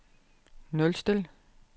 nulstil